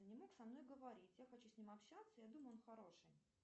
и не мог со мной говорить я хочу с ним общаться я думаю он хороший